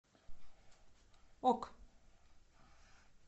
ок